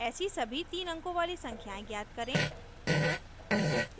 ऐसी सभी तीन अंकों वाली संख्याएं ज्ञात करें